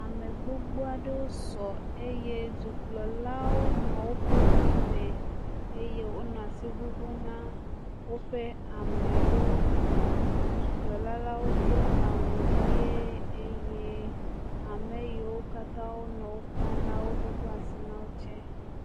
Ame gbogbo aɖewo sɔ eye dukplɔlawo nɔ woƒe ŋu me eye wonɔ asi ŋuŋum na woƒe amewo. Dukplɔla la wo do awu ʋie eye ame yi wo katã nɔ wo kpɔm la ŋuŋu asi na wo tsɛ.